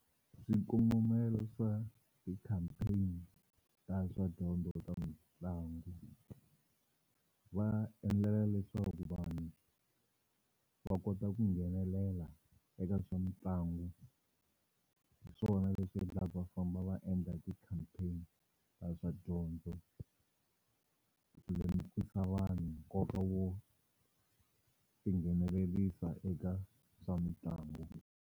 Swikongomelo swa ti-campaign ta swa dyondzo eka mitlangu va endlela leswaku vanhu va kota ku nghenelela eka swa mitlangu hi swona leswi endlaku va famba va endla ti-campaign ta swa dyondzo ku lemukisa vanhu nkoka wo tinghenelerisa eka swa mitlangu.